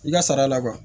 I ka sara la